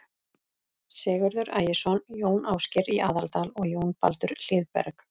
Sigurður Ægisson, Jón Ásgeir í Aðaldal og Jón Baldur Hlíðberg.